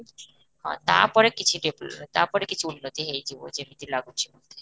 ହଁ ତା ପରେ କିଛି problem ନାହିଁ ତା ପରେ କିଛି ଉର୍ନତି ହେଇଯିବ ଯେମିତି ଲାଗୁଚି ମତେ